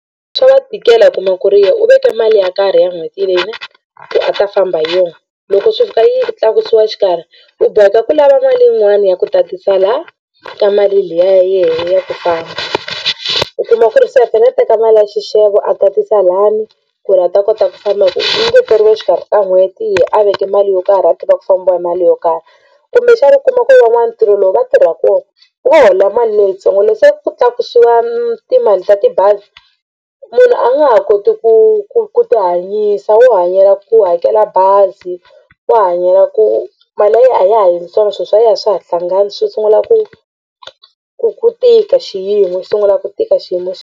Swa va tikela u kuma ku ri yena u veke mali ya karhi ya n'hweti leyi ne ku a ta famba hi yona. Loko swi fika yi tlakusiwa exikarhi u boheka ku lava mali yin'wani ya ku tatisa la ka mali liya ya yena ya ku famba u kuma ku ri se a fanele a teka mali ya xixevo a tatisa lani ku ri a ta kota ku famba hi ku ku ngeteriwe exikarhi ka n'hweti yehe a veke mali yo karhi a tiva ku fambiwa hi mali yo karhi kumbexana u kuma ku van'wana ntirho lowu va tirha kona va hola mali leyitsongo loko se ku tlakusiwa timali ta tibazi munhu a nga ha koti ku ku ku tihanyisa wo hanyela ku hakela bazi wo hanyela ku mali ya yena a ya ha endli swona swilo swa yena a swa ha hlangani swi sungula ku ku ku tika xiyimo xi sungula ku tika xiyimo xa.